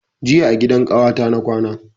Jiya a gidan ƙawata na kwana